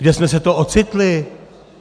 Kde jsme se to ocitli?